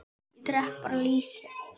Ég drekk bara lýsi!